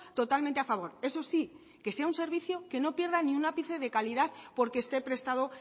totalmente a favor eso sí que sea un servicio que no pierda ni un ápice de calidad porque esté prestado